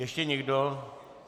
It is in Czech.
Ještě někdo?